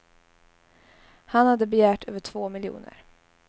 Han hade begärt över två miljoner.